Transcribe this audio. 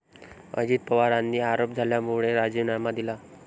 अजित पवारांनी आरोप झाल्यामुळे राजीनामा दिला.